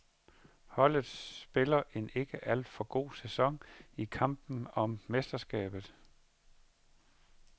Holdet spiller en ikke alt for god sæson i kampen om mesterskabet.